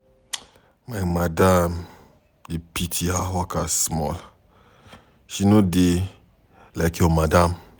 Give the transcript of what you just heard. My madam dey pity her workers small, she no dey like your madam.